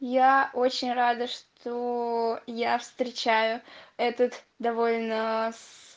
я очень рада что я встречаю этот довольно с